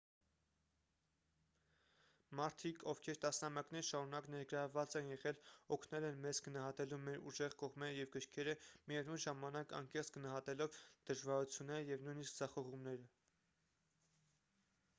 մարդիկ ովքեր տասնամյակներ շարունակ ներգրավված են եղել օգնել են մեզ գնահատելու մեր ուժեղ կողմերը և կրքերը միևնույն ժամանակ անկեղծ գնահատելով դժվարությունները և նույնիսկ ձախողումները